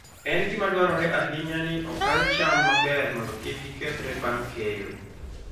En gima dwarore ahinya ni okan cham maber mondo kik gikethre bang' keyo.